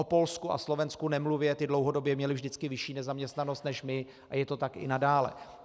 O Polsku a Slovensku nemluvě, ty dlouhodobě měly vždycky vyšší nezaměstnanost než my a je to tak i nadále.